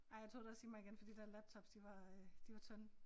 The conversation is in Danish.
Ej jeg tog det også i mig igen fordi den laptops de var øh de var tynde